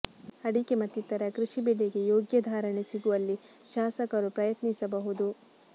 ಅಡಿಕೆ ಮತ್ತಿತರ ಕೃಷಿ ಬೆಳೆಗೆ ಯೋಗ್ಯ ಧಾರಣೆ ಸಿಗುವಲ್ಲಿ ಶಾಸಕರು ಪ್ರಯತ್ನಿಸಬಹುದು